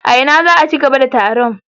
A ina za a ci gaba da taron?